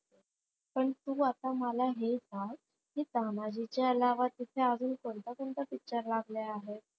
पण तू आता मला हे सांग, कि तानाजी च्या अलावा तिथ अजून कोणता कोणता picture लागला आहे?